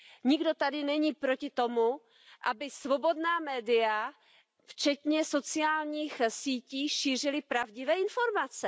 Nikdo tady není proti tomu, aby svobodná média včetně sociálních sítí šířila pravdivé informace.